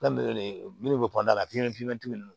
minnu bɛ kɔnɔna la ninnu